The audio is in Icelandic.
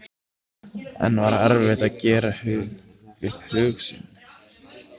En var erfitt að gera upp hug sinn?